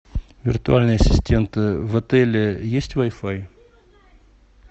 виртуальный ассистент в отеле есть вайфай